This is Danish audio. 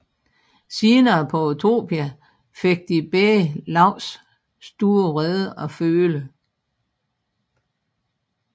Senere på Utopia fik de begge Laus store vrede at føle